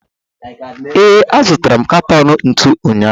ee, azụtara m katọn ntu ụnyaahụ